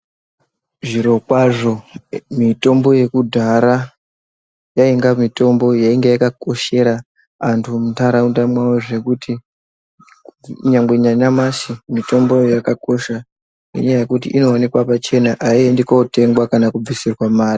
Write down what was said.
Zviro kwazvo mitombo yekudhara yainga mitombo yainga yakakoshera antu mundaraunda mwawo zvekuti nyangwe nanyamashi mitomboyo yakakosha ngenyaya yekuti inoonekwa pachena aiendi kunotengwa kana kubvisirwa mari.